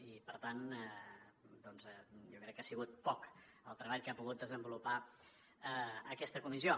i per tant doncs jo crec que ha sigut poc el treball que ha pogut desenvolupar aquesta comissió